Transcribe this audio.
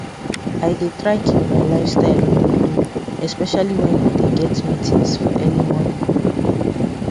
i dey try keep my lifestyle on a low especially when you dey get meetings for early morning